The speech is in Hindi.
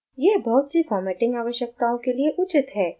यह बहुत सी formatting आवश्यकताओं के लिए उचित है